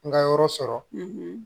N ka yɔrɔ sɔrɔ